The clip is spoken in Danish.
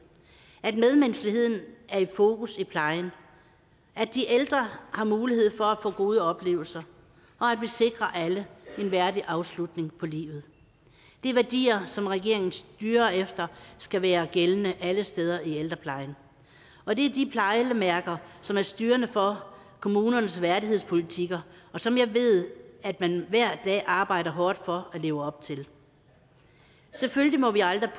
at medmenneskeligheden er i fokus i plejen at de ældre har mulighed for at få gode oplevelser og at vi sikrer alle en værdig afslutning på livet det er værdier som regeringen styrer efter skal være gældende alle steder i ældreplejen og det er de pejlemærker som er styrende for kommunernes værdighedspolitikker og som jeg ved man hver dag arbejder hårdt for at leve op til selvfølgelig må vi aldrig